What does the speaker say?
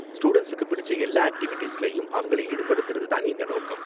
ஸ்டூடண்ட்ஸுக்கு பிடிச்ச எல்லா ஆக்ட்டிவிட்டீஸ்லயும் அவங்கள ஈடுபடுத்துறது தான் எங்க நோக்கம்.